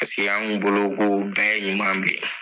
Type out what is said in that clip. an' ŋu bolo k'o bɛɛ ye ɲuman de ye.